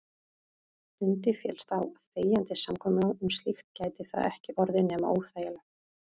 Dundi féllist á þegjandi samkomulag um slíkt gæti það ekki orðið nema óþægilegt.